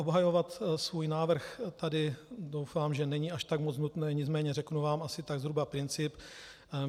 Obhajovat svůj návrh tady doufám, že není až tak moc nutné, nicméně řeknu vám asi tak zhruba princip.